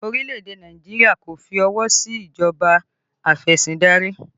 Orílẹ̀ èdè Nàìjíríà kò fi ọwọ sí ìjọba afesindari